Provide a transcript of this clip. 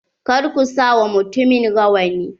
Kar ku sa wa mutumin rawani.